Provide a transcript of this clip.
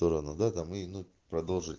торону да там и ну продолжить